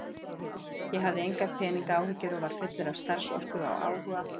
Ég hafði engar peningaáhyggjur og var fullur af starfsorku og áhuga.